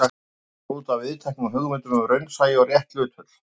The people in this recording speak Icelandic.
Vikið er útaf viðteknum hugmyndum um raunsæi og rétt hlutföll.